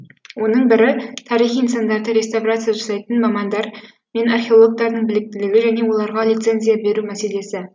оның бірі тарихи нысандар реставрация жасайтын мамандар мен археологтардың біліктілігі және оларға лицензия беру мәселесі